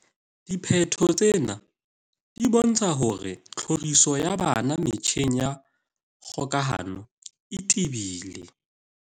"Diphetho tsena di bontsha hore tlhoriso ya bana metjheng ya kgokahano e tebile."